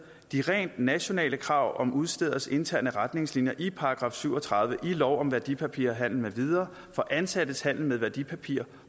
de rent nationale krav om udstederes interne retningslinjer i § syv og tredive i lov om værdipapirhandel med videre for ansattes handel med værdipapirer